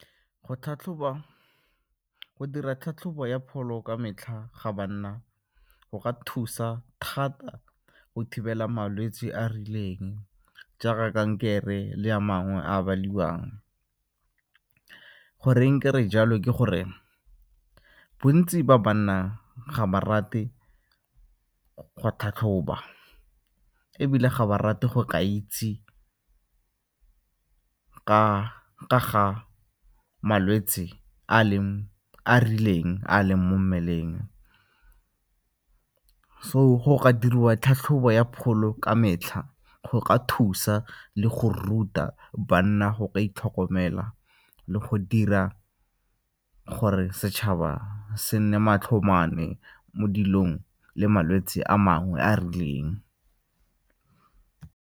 Go tlhatlhoba, go dira tlhatlhobo ya pholo ka metlha ga banna go ka thusa thata go thibela malwetse a a rileng jaaka kankere le a mangwe a a baliwang. Goreng ke re jalo ke gore bontsi ba banna ga ba rate go tlhatlhoba ebile ga ba rate go ka itse ka ga malwetse a a rileng a a leng mo mmeleng. So go ka diriwa ke tlhatlhobo ya pholo ka metlha go ka thusa le go ruta banna go ka itlhokomela le go dira gore setšhaba se nne matlho mane mo dilong le malwetse a mangwe a a rileng.